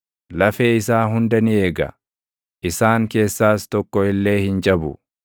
lafee isaa hunda ni eega; isaan keessaas tokko illee hin cabu.